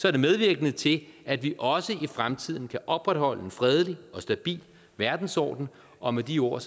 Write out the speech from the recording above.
er det medvirkende til at vi også i fremtiden kan opretholde en fredelig og stabil verdensorden og med de ord